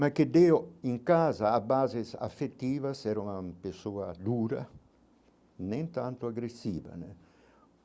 mas que deu em casa a bases afetivas, era uma pessoa dura, nem tanto agressiva né.